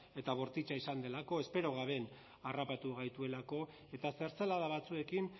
eta bortitza izan delako espero gabe harrapatu gaituelako eta zertzelada batzuekin